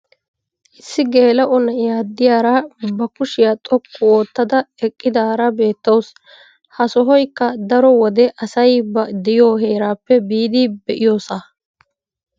issi geela'o na'iya diyaara ba kushiyaa xoqqu oottada eqqidaara beetawusu. ha sohoykka daro wode asay ba diyo heeraappe biidi be'iyoosa.